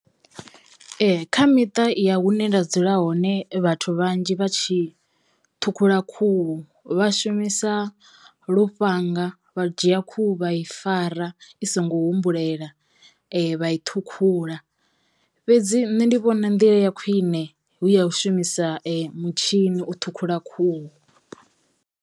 Ee kha miṱa ya hune nda dzula hone vhathu vhanzhi vha tshi ṱhukhula khuhu vha shumisa lufhanga, vha dzhia khuhu vha i fara i songo humbulela vha i ṱhukhula fhedzi nṋe ndi vhona nḓila ya khwiṋe hu ya u shumisa mutshini u ṱhukhula khuhu.